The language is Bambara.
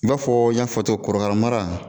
I b'a fɔ n y'a fɔ cogo korokara mara